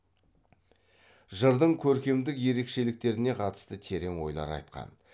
жырдың көркемдік ерекшеліктеріне катысты терең ойлар айткан